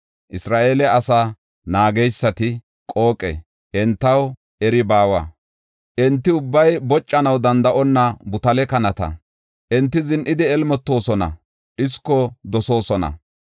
Isra7eele asaa naageysati qooqe; entaw eri baawa; enti ubbay boccanaw danda7onna butale kanata; enti zin7idi elmotoosona; dhisko dosoosona.